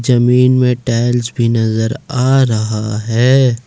जमीन में टाइल्स भी नजर आ रहा है।